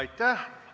Aitäh!